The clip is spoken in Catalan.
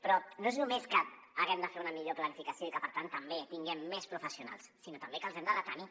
però no és només que haguem de fer una millor planificació i que per tant també tinguem més professionals sinó també que els hem de retenir